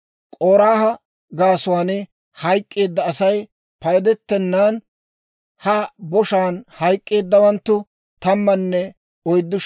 K'oraaha gaasuwaan hayk'k'eedda Asay paydettenan, ha boshaan hayk'k'eeddawanttu 14,700.